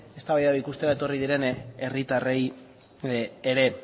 eztabaida ikustera etorri diren herritarrei ere